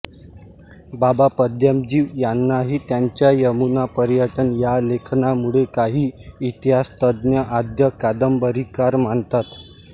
बाबा पद्मनजी यांनाही त्यांच्या यमुनापर्यटन या लेखनामुळे काही इतिहासतज्ज्ञ आद्य कादंबरीकार मानतात